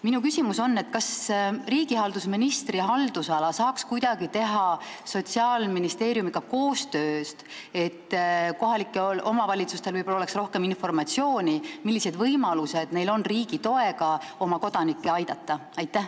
Minu küsimus on: kas riigihalduse ministri haldusala töötajad saaks kuidagi teha Sotsiaalministeeriumiga koostööd, et kohalikel omavalitsustel oleks rohkem informatsiooni, millised võimalused neil on riigi toega oma elanikke aidata?